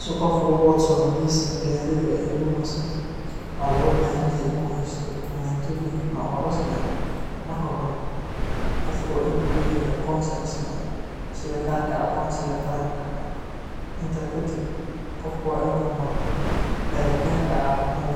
Si qof uu codsado lesion, waa inuu haysto aqoonsi tasmi ah, waa inuu maro cafimaad,